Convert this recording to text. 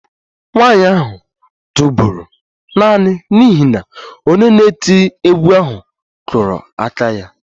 Nwanyị ahụ tụbọrọ naanị n'ihi na onye na-eti egwu ahụ kụrụ aka ya